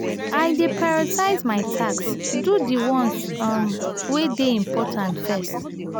i dey prioritize my tasks do di ones um wey dey important first.